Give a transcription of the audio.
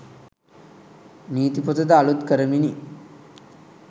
නීති පොතද අලූත් කරමිනි